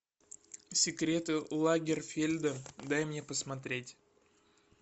секреты лагерфельда дай мне посмотреть